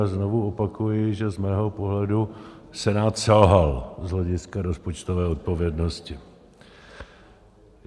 A znovu opakuji, že z mého pohledu Senát selhal z hlediska rozpočtové odpovědnosti.